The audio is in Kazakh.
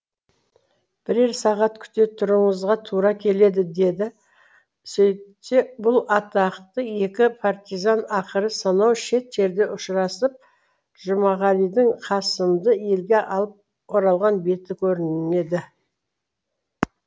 бірер сағат күте тұруыңызға тура келеді деді сөйтсе бұл атақты екі партизан ақыры сонау шет жерде ұшырасып жұмағалидың қасымды елге алып оралған беті көрінеді